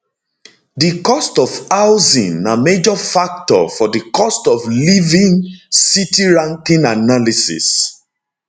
di cost of housing na major factor for di cost of living city ranking analysis